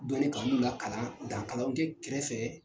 Donni kanuw la kalan , dan kalanw kɛ kɛrɛfɛ fɛ